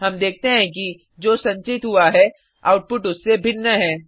हम देखते हैं कि जो संचित हुआ है आउटपुट उससे भिन्न है